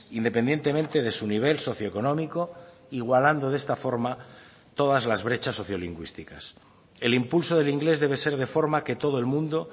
independientemente de su nivel socioeconómico igualando de esta forma todas las brechas sociolingüísticas el impulso del inglés debe ser de forma que todo el mundo